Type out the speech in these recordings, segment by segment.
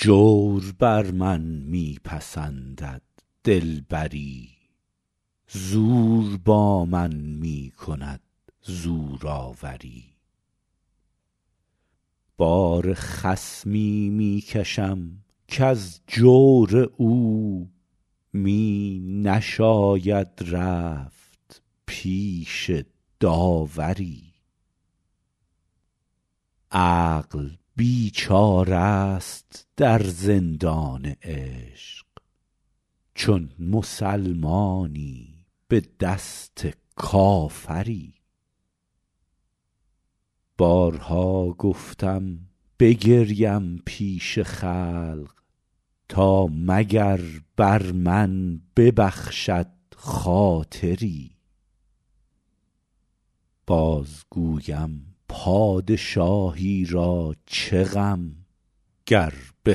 جور بر من می پسندد دلبری زور با من می کند زورآوری بار خصمی می کشم کز جور او می نشاید رفت پیش داوری عقل بیچاره ست در زندان عشق چون مسلمانی به دست کافری بارها گفتم بگریم پیش خلق تا مگر بر من ببخشد خاطری باز گویم پادشاهی را چه غم گر به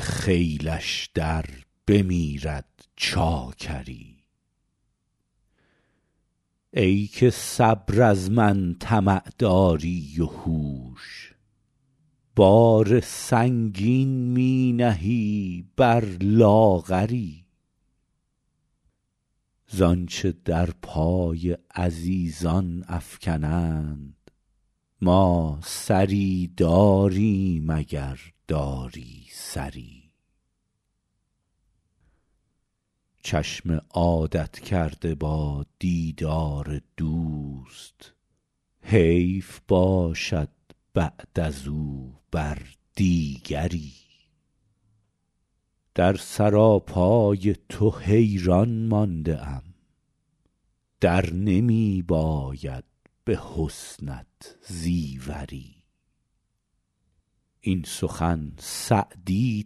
خیلش در بمیرد چاکری ای که صبر از من طمع داری و هوش بار سنگین می نهی بر لاغری زآنچه در پای عزیزان افکنند ما سری داریم اگر داری سری چشم عادت کرده با دیدار دوست حیف باشد بعد از او بر دیگری در سراپای تو حیران مانده ام در نمی باید به حسنت زیوری این سخن سعدی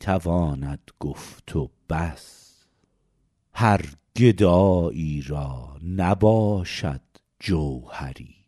تواند گفت و بس هر گدایی را نباشد جوهری